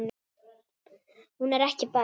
Hún er ekki barn.